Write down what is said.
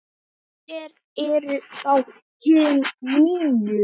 Hver eru þá hin níu?